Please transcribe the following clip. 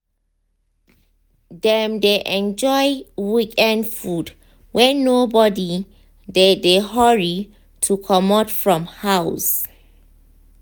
dem dey enjoy weekend food when nobody dey dey hurry to comot from house.